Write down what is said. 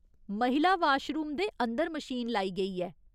महिला वाशरूम दे अंदर मशीन लाई गेई ऐ।